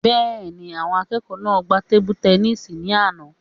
Bẹ́ẹ̀ni, àwọn akẹ́kọ̀ọ́ náà gbá tebu-tẹnísì ní àná